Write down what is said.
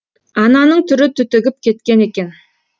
ананың түрі түтігіп кеткен екен